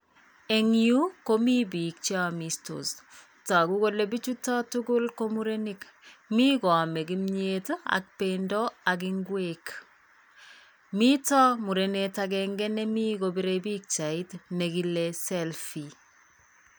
Eng' yu komi biik cheamistos. Toku kole bichuto tukul ko murenik. Mi koame kimiet ak bendo ak ng'wek. Mito murenet akenge nemi kopire pikchait nekile selfie.